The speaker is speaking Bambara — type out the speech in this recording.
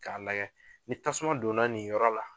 K'a lagɛ ni tasuma donna nin yɔrɔ la